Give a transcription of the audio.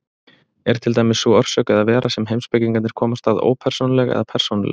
Er til dæmis sú orsök eða vera sem heimspekingarnir komast að ópersónuleg eða persónuleg?